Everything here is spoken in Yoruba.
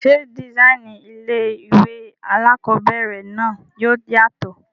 Ṣé dìsáínì ilé-ìwé alákobẹ̀rẹ̀ náà yóò yàtọ̀?